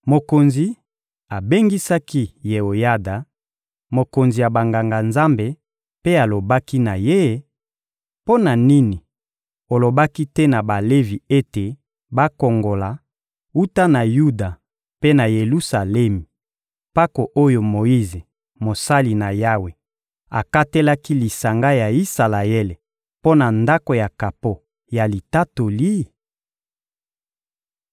Mokonzi abengisaki Yeoyada, mokonzi ya Banganga-Nzambe, mpe alobaki na ye: «Mpo na nini olobaki te na Balevi ete bakongola, wuta na Yuda mpe na Yelusalemi, mpako oyo Moyize, mosali na Yawe, akatelaki lisanga ya Isalaele mpo na Ndako ya kapo ya Litatoli?»